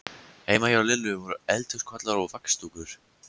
Heima hjá Lillu voru eldhúskollar og vaxdúkur.